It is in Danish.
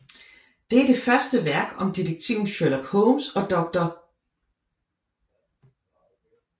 Det er det første værk om detektiven Sherlock Holmes og dr